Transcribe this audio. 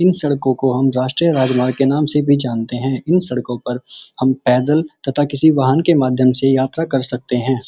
इन सड़कों को हम राष्ट्रीय राजमार्ग के नाम से भी जानते हैं इन सड़कों पर हम पैदल तथा किसी वाहन के माध्यम से यात्रा कर सकते हैं।